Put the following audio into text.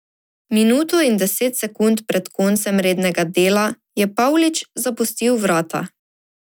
Minuto in deset sekund pred koncem rednega dela je Pavlič zapustil vrata.